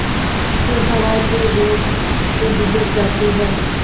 फिर हवा के वेग से बिगड़ जाती हैं